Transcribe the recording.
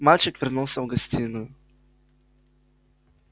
мальчик вернулся в гостиную